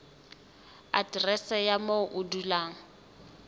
aterese ya moo o dulang